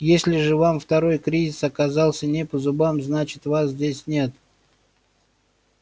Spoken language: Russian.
если же вам второй кризис оказался не по зубам значит вас здесь нет